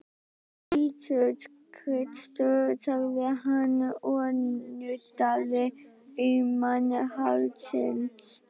Jesús Kristur, sagði hann og nuddaði auman hálsinn.